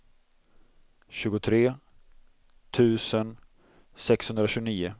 tjugotre tusen sexhundratjugonio